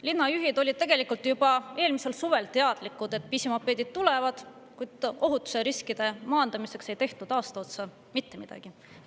Linnajuhid olid tegelikult juba eelmisel suvel teadlikud, et pisimopeedid tulevad, kuid ohutusriskide maandamiseks ei tehtud aasta otsa mitte midagi.